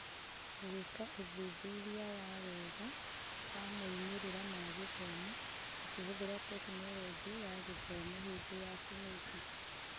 Gũĩka ũthuthuria wa wega wa moimĩrĩra ma gĩthomo ũkĩhũthĩra Tekinoronjĩ ya Gĩthomo hĩndĩ ya kĩng'ũki